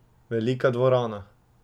Velika dvorana.